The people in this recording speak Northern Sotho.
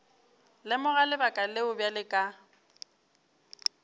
lemoga lebaka leo bjale ka